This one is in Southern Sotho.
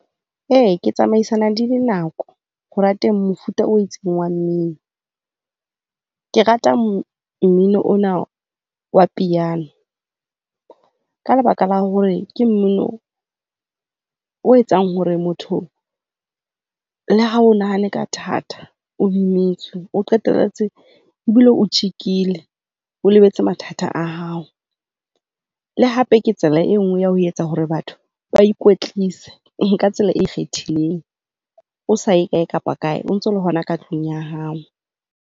E, ke tsamaisana di le nako hore rateng mofuta o itseng wa mmino. Ke rata mmino ona wa piano ka lebaka la hore ke mmino o etsang hore motho le ha o nahanne ka thata, o imetswe, o qetelletse ebile o tjekile. O lebetse mathata a hao. Le hape ke tsela e nngwe ya ho etsa hore batho ba ikwetlisa ka tsela e ikgethileng, o sa ye kae kapa kae. O ntse o le hona ka tlung ya hao.